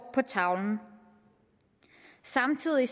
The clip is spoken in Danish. på tavlen samtidig